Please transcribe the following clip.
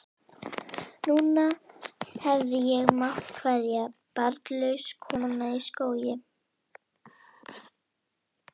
Núna hefði ég mátt kveðja, barnlaus kona í skógi.